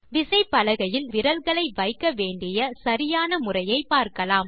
விசைப்பலகையில் நாம் விரல்களை வைக்க வேண்டிய சரியான முறையை பார்க்கலாம்